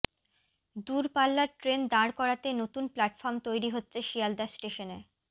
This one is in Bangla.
দূরপাল্লার ট্রেন দাঁড় করাতে নতুন প্ল্যাটফর্ম তৈরি হচ্ছে শিয়ালদা স্টেশনে